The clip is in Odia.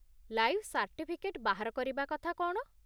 ଲାଇଫ୍ ସାର୍ଟିଫିକେଟ୍ ବାହାରକରିବା କଥା କ'ଣ?